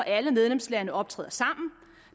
alle medlemslande optræder sammen